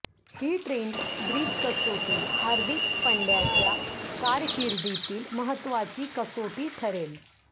ही Trent Bridge कसोटी हार्दिक पंड्याच्या कारकिर्दीतील महत्त्वाची कसोटी ठरेल